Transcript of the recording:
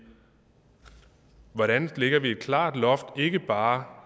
hvordan lægger vi et klart loft ikke bare